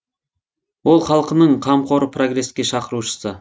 ол халкының қамқоры прогреске шақырушысы